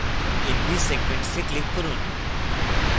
nb segments এ click করুন